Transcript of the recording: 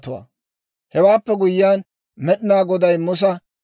Hewaappe guyyiyaan Med'inaa Goday Musa,